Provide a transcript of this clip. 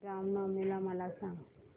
राम नवमी मला सांग